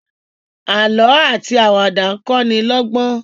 àlọ ati Àwàdà nkọ ní lógbón.